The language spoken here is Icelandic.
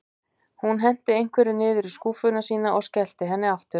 Hún henti einhverju niður í skúffuna sína og skellti henni aftur.